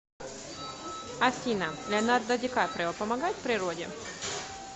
афина леонардо ди каприо помогает природе